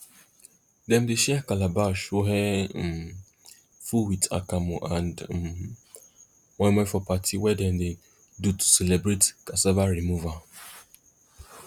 dem dey share calabash wey um full with akamu and um moimoi for party wey dem dey do to celebrate cassava removal